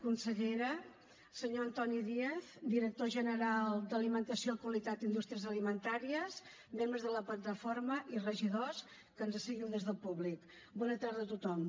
consellera senyor antoni díaz director general d’alimentació qualitat i indústries alimentàries membres de la plataforma i regidors que ens seguiu des del públic bona tarda a tothom